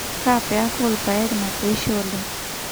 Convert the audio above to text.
kaa peku orrpaek natoishe oleng